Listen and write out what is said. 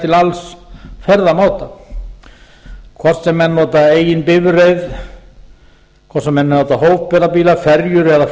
til alls ferðamáta hvort sem menn nota eigin bifreið hvort sem menn nota hópferðabíla ferjur